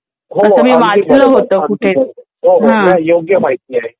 हो हो अगदी बरोबर अगदी बरोबर हो हो योग्य माहिती आहे.